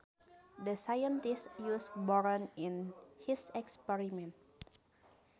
The scientist used boron in his experiment